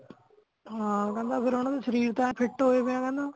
ਹਾਂ ਕਹਿੰਦਾ ਫੇਰ ਓਹਨਾ ਦੇ ਸ਼ਰੀਰ ਤਾਂ fit ਹੋਏ ਪੈ ਆ ਕਹਿੰਦਾ